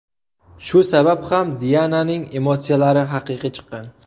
Shu sabab ham Diananing emotsiyalari haqiqiy chiqqan.